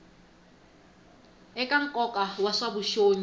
eka nkoka wa swa vuxongi